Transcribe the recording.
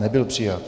Nebyl přijat.